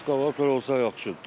Eskalator olsa yaxşıdır da.